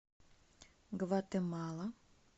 гватемала